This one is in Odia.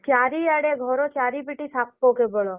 ଚାରିଆଡେ ଘର ଚାରିପିଟି ସାପ କେବଳ।